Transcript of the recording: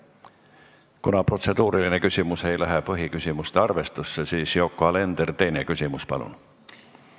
Kuna protseduuriline küsimus ei lähe põhiküsimuste arvestusse, siis, Yoko Alender, teine küsimus, palun!